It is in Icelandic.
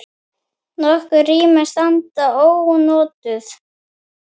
Nokkur rými standa ónotuð.